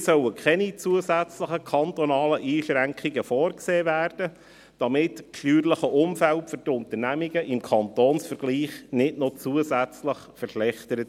Hier sollen keine zusätzlichen kantonalen Einschränkungen vorgesehen werden, damit sich das steuerliche Umfeld für die Unternehmen im Kantonsvergleich nicht noch zusätzlich verschlechtert.